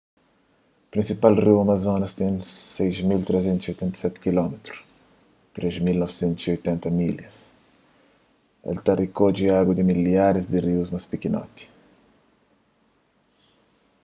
prinsipal riu amazonas ten 6.387 km 3.980 milhas. el ta rikodje agu di milharis di rius más pikinoti